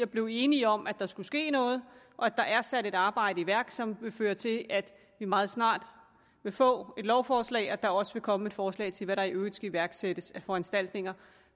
blev enige om at der skulle ske noget og at der er blevet sat et arbejde i værk som vil føre til at vi meget snart vil få et lovforslag at der også vil komme forslag til hvad der i øvrigt skal iværksættes af foranstaltninger